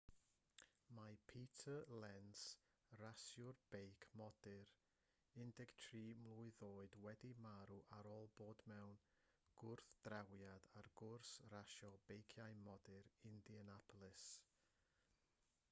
mae peter lenz rasiwr beic modur 13 mlwydd oed wedi marw ar ôl bod mewn gwrthdrawiad ar gwrs rasio beiciau modur indianapolis